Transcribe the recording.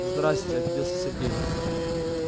здрассте обиделся сергей